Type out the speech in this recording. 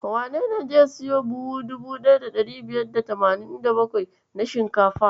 Wanene zai siyo buhu 1587 na shinkafar?